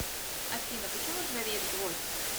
афина почему ржавеет гвоздь